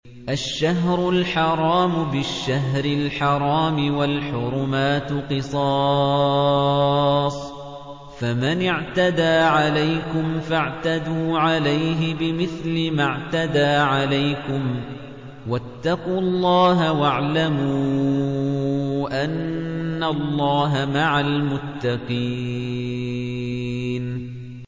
الشَّهْرُ الْحَرَامُ بِالشَّهْرِ الْحَرَامِ وَالْحُرُمَاتُ قِصَاصٌ ۚ فَمَنِ اعْتَدَىٰ عَلَيْكُمْ فَاعْتَدُوا عَلَيْهِ بِمِثْلِ مَا اعْتَدَىٰ عَلَيْكُمْ ۚ وَاتَّقُوا اللَّهَ وَاعْلَمُوا أَنَّ اللَّهَ مَعَ الْمُتَّقِينَ